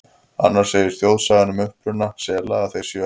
Annars segir þjóðsagan um uppruna sela að þeir séu hermenn Faraós.